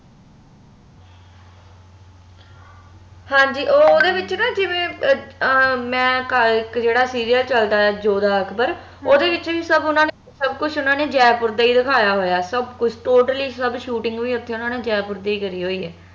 ਹਾਂਜੀ ਓਂਹ ਉਹਦੇ ਵਿੱਚ ਨਾ ਜਿਵੇ ਇਕ ਜਿਹੜਾ serial ਚਲਦਾ ਜੋਧਾ ਅਕਬਰ ਓਹਦੇ ਵਿਚ ਸਬ ਓਨਾ ਨੇ ਸਬ ਕੁਛ ਓਹਨਾ ਨੇ ਜੈਪੁਰ ਦਾ ਹੀ ਦਿਖਾਯਾ ਹੋਇਆ ਸਬ ਕੁਛ totally ਸਬ shooting ਵੀ ਓਨਾ ਨੇ ਜੈਪੁਰ ਦੀ ਹੀ ਕਰਿ ਹੋਈਏ